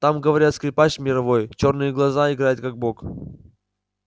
там говорят скрипач мировой чёрные глаза играет как бог